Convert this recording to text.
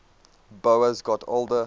boas got older